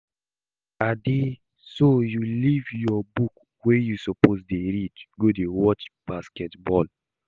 Ade so you leave your book wey you suppose to dey read go dey watch basketball